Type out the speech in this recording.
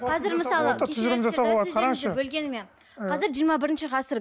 қазір мысалы бөлгеніме қазір жиырма бірінші ғасыр